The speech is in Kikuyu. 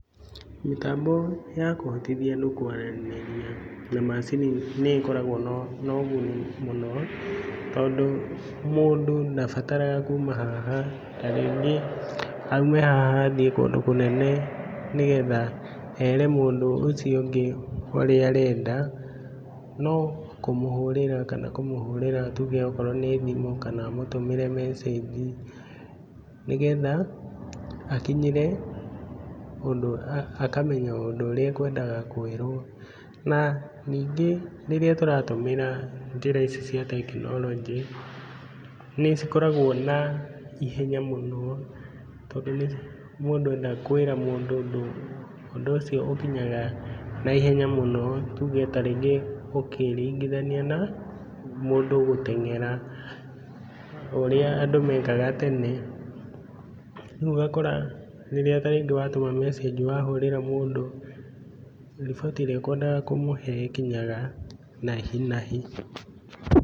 Mĩtambo ya kũhotithia andũ kwaranĩria na macini nĩ ĩkoragwo na na ũguni mũno, tondũ mũndũ ndabataraga kuma haha, tarĩngĩ aime haha athiĩ kũndũ ta kũnene nĩgetha ere mũndũ ũcio ũngĩ ũrĩa arenda, no kũmũhũrĩra kana kana kũmũhurĩra tuge okorwo nĩ thimũ, kana amũtũmĩre mecĩnji, nĩgetha akinyĩre ũndũ, akamenya ũndũ ũrĩa ekwendaga kwĩrwo, na ningĩ rĩrĩa tũratũmĩra njĩra ici cia tekinoronjĩ, nĩ cikoragwo na ihenya mũno, tondũ nĩ mũndũ enda kwĩra mũndũ ũndũ, ũndũ ũcio ũkinyaga naihenya mũno, tuge tarĩngĩ ũkĩringithania na, mũndũ gũtengera, ũrĩa andũ mekaga tene, rĩu ũgakora rĩrĩa tarĩngĩ watũma mecĩnji, wahũrĩra mũndũ, riboti ĩrĩa ũkwendaga kũmũhe ĩkiyaga nahinahi.